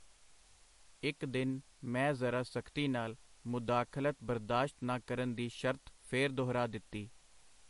ਇਕ ਦਿਨ ਮੈਂ ਜ਼ਰਾ ਸਖਤੀ ਨਾਲ ਮੁਦਾਖਲਤ ਬਰਦਾਸ਼ਤ ਨਾ ਕਰਨ ਦੀ ਸ਼ਰਤ ਫੇਰ ਦੁਹਰਾ ਦਿਤੀ.